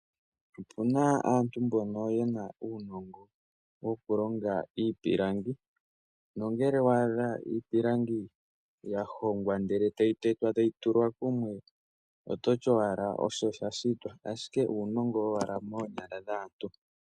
Opuna aantu mbono yena uunongo woku longa iipalangi nongele waadha iipilangi yahogwa ndele tayi tetwa etayi tulwa kumwe ototi owala osho yashitwa ashike uunongo owala moonyala dhaantu.